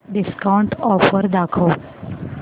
discount offer दाखव